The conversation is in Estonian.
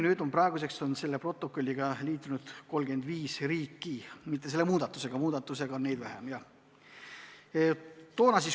Praeguseks on selle protokolliga liitunud 35 riiki, selle muudatusega aga vähem.